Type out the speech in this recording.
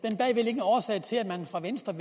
er til at man fra venstres